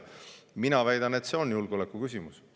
Mina väidan, et see on julgeolekuküsimus.